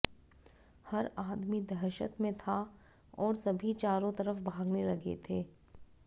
हर आदमी दहशत में था और सभी चारों तरफ भागने लगे थे